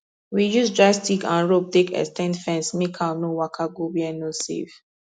we use dry stick and rope take ex ten d fence make cow no waka go where no safe